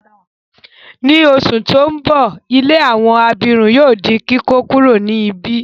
Ni oṣù ti n bọ, ilé àwọn abirùn yóò di kíkókuro ni ibi.